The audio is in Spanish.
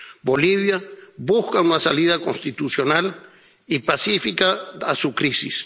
Bolivia busca una salida constitucional y pacífica a su crisis.